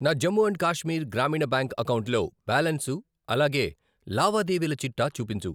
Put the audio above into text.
నా జమ్ము అండ్ కాశ్మీర్ గ్రామీణ బ్యాంక్ అకౌంటులో బ్యాలన్సు, అలాగే లావాదేవీల చిట్టా చూపించు.